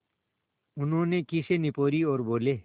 उन्होंने खीसें निपोरीं और बोले